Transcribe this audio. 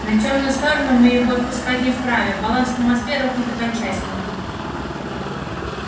на тёмную сторону мы его отпускать не вправе баланс по москве рухнет окончательно